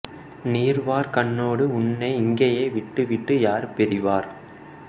நீர் வார் கண்ணோடு உன்னை இங்கேயே விட்டுவிட்டு யார் பிரிவார்